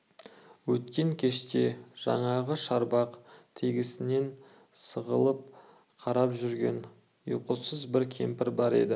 өткен кеште жаңағы шарбақ тесігінен сығалап қарап жүрген ұйқысыз бір кемпір бар еді